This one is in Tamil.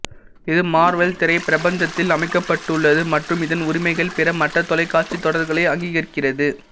இது மார்வெல் திரைப் பிரபஞ்சத்தில் அமைக்கப்பட்டுள்ளது மற்றும் இதன் உரிமைகள் பிற மற்ற தொலைக்காட்சித் தொடர்களை அங்கீகரிக்கிறது